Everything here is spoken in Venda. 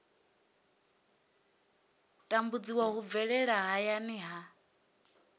tambudziwa hu bvelela hayani ha